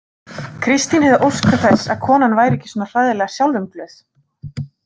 Kristín hefði óskað þess að konan væri ekki svona hræðilega sjálfumglöð.